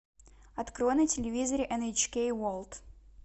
открой на телевизоре эн эйч кей ворлд